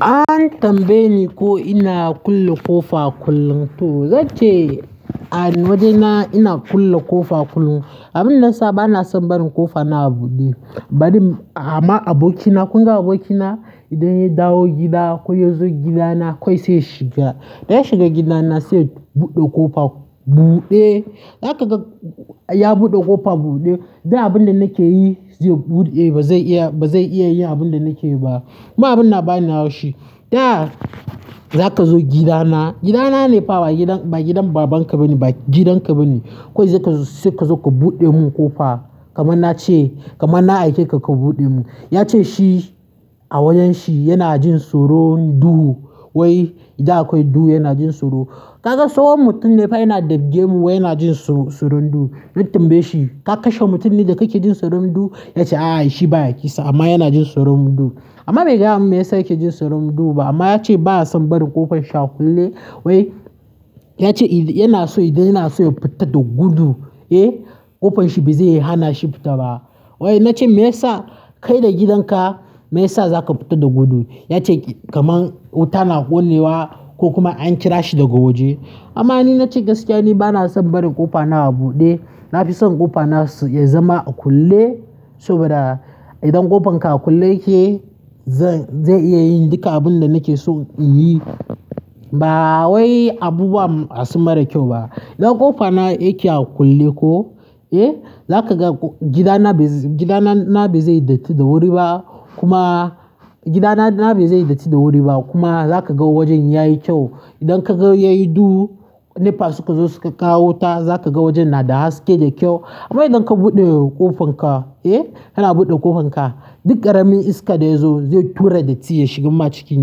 An tambaye ni ko ina kulle ƙofa kullum to zance a waje ina ina kulle ƙofa kullum. Abin da yasa bana son barin ƙofa na a buɗe, bari ama abokina, kunga abokina idan ya dawo gida ko yazo gidana kawai saiya shiga, da ya shiga gidana sai buɗe ƙofa buɗe. Za ka ga ya buɗe ƙofa buɗe, da abin da nake yi zai buɗe, ba zai iya, ba zai iya yin abin da nake yi ba. Kuma abin da bani hau shi, taya za ka zo gidana, gidana ne fa ba gidan, ba gidan babanka ba ne, ba gidanka ba ne. Ko zai ka zo ka buɗe mun ƙofa kamar na ce, kamar na aike ka, ka buɗe mun. Ya ce shi a wajan shi yana jin soron duhu, wai idan akwai duhu yana jin soro. Ka ga tsohon mutum ne fa yana da gya mu wai yana jin so-soron duhu. Na tambaye shi, ka kashe mutum ne da kake jin soron duhu? Ya ce a a shi baya kisa amma yana jin soron duhu. Amma bai gaya mun me yasa yake jin soron duhu ba amma ya ce ba ya son barin ƙofan shi a kulle. Wai yace yanaso idan yanaso ya fita da gudu eh kofanshi ba zai hanashi fita ba wai na ce me yasa kai da gidanka me yasa za ka fita da gudu? Ya ce kamar wuta na ƙone wa ko kuma an kira shi daga waje. Amma ni na ce gaskiya ne bana son barin ƙofa na a buɗe. Na fi son ƙofa na ya zama a kulle saboda idan ƙofan ka a kulle yake, zai iya yin duka abun da nake so in yi. Ba wai abubuwa ba su mara kyau ba. Idan ƙofa na yake a kulle ko, eh za ka ga gidana ba zai, gidana na ba zai datti da wuri ba kuma gidana na ba zai datti da wuri ba kuma za ka ga wajen yayi kyau. Idan ka ga yayi duhu, ne fa suka zo suka kawo wuta za ka ga wajen na da haske da kyau. Amma idan ka buɗe ƙofanka, eh kana buɗe ƙofanka, duk ƙaramin iska da ya zo zai tura datti ya shigamma cikin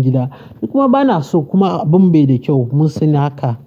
gida. Ni kuma bana so kuma abun bai da kyau mun sani haka.